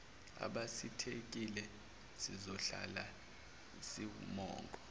abasikhethile zizohlala ziwumongo